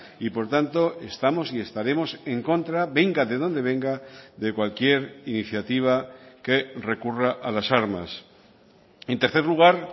y por tanto estamos y estaremos en contra venga de donde venga de cualquier iniciativa que recurra a las armas en tercer lugar